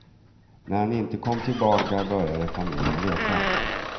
När han inte kom tillbaka började familjen leta.